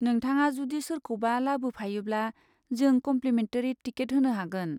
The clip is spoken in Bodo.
नोंथाङा जुदि सोरखौबा लाबोफायोब्ला जों कम्लिमेन्टारि टिकेट होनो हागोन।